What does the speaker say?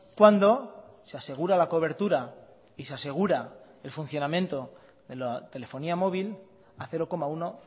cuando se asegura la cobertura y se asegura el funcionamiento de la telefonía móvil a cero coma uno